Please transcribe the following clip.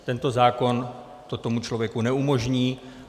Tento zákon to tomu člověku neumožní.